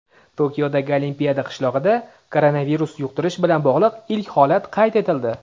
Tokiodagi Olimpiya qishlog‘ida koronavirus yuqtirish bilan bog‘liq ilk holat qayd etildi.